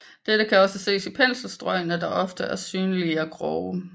Dette kan også ses i penselstrøgene som ofte er synlige og grove